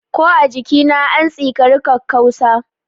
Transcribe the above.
Ko a jikina, an tsikari kakkausa.